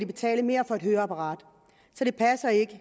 betale mere for et høreapparat så det passer ikke